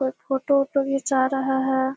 कोई फोटो उटो घीचा रहा है।